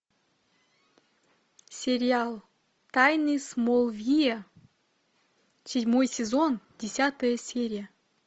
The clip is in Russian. сериал тайны смолвиля седьмой сезон десятая серия